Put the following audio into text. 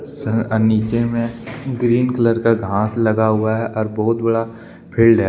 Sir अ नीचे में ग्रीन कलर का घास लगा हुआ है और बहुत बड़ा फील्ड है।